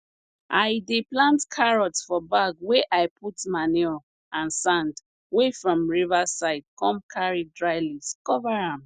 i dey plant carrot for bag wey i put manure and sand wey from river side come carry dry leaves cover am